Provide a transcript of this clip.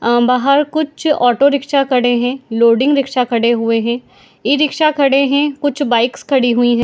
आ बाहर कुछ auto rickshaw खड़े है लोडिंग रिक्शा खड़े हुए है ई-रिक्शा खड़े है कुछ बाइक्स खड़ी हुई है।